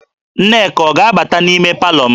Nneka ọ ga-abata n'ime palọ m?